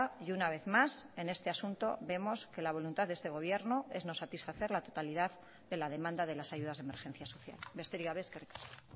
y una vez más en este asunto vemos que la voluntad de este gobierno es no satisfacer la totalidad de la demanda de las ayudas de emergencias social besterik gabe eskerrik asko